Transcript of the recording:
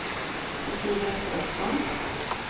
Cecilia Paulsson